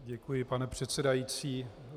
Děkuji, pane předsedající.